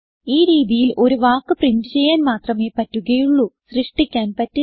ഈ രീതിയിൽ ഒരു വാക്ക് പ്രിന്റ് ചെയ്യാൻ മാത്രമേ പറ്റുകയുള്ളൂ സൃഷ്ടിക്കാൻ പറ്റില്ല